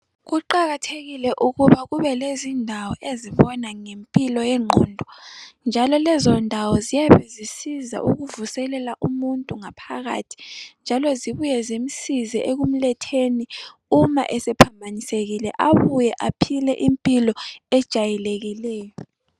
Kuqakathekile ukuba kubelezindawo ezibona ngempilo yengqondo njalo lezo ndawo ziyabe zisiza ukuvuselela umuntu ngaphakathi njalo zibuye zimsize ekumletheni uma esephambanisekile abuye aphile impilo ejayelekileyo.